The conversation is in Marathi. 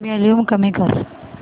वॉल्यूम कमी कर